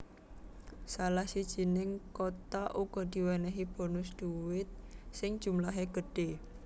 Salah sijining kota uga diwènèhi bonus duit sing jumlahé gedhe